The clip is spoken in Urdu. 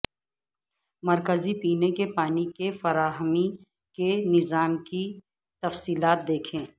مرکزی پینے کے پانی کی فراہمی کے نظام کی تفصیلات دیکھیں